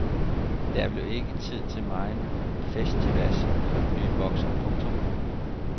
Der blev ikke tid til megen festivas for den ny bokser. punktum